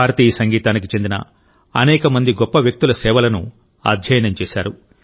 భారతీయ సంగీతానికి చెందిన అనేక మంది గొప్ప వ్యక్తుల సేవలను అధ్యయనం చేశారు